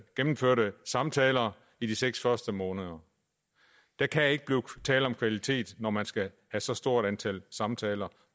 gennemførte samtaler i de seks første måneder der kan ikke blive tale om kvalitet når man skal have så stort antal samtaler